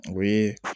O ye